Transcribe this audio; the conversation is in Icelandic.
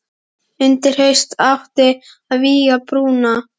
Undir haust átti að vígja brúna.